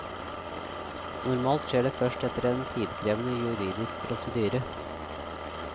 Normalt skjer det først etter en tidkrevende juridisk prosedyre.